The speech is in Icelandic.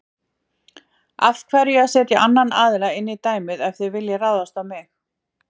Af hverju að setja annan aðila inn í dæmið ef þið viljið ráðast á mig?